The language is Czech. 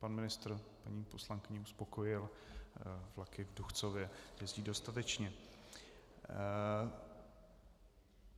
Pan ministr paní poslankyni uspokojil, vlaky v Duchcově jezdí dostatečně.